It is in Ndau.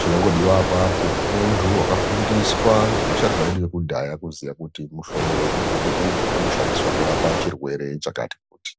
chinongodiwa apapo muntu wakafundiswa ngevasharuka vedu vekudhaya kuziya kuti muhlobo wemumbuti uyu unoshandiswa kurapa chirwere chakati kuti.